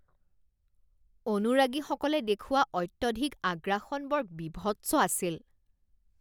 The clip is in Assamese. অনুৰাগীসকলে দেখুওৱা অত্যধিক আগ্ৰাসন বৰ বীভৎস আছিল